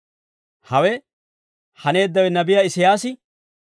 Hawe haneeddawe nabiyaa Isiyaasi,